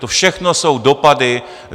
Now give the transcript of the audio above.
To všechno jsou dopady.